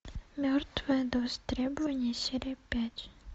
мертвая до востребования серия пять